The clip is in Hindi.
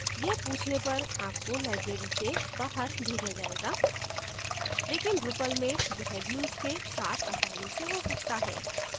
यह पूछने पर आपको library से बाहर भेजा जायेगा लेकिन drupal में यह views के साथ आसानी से हो सकता है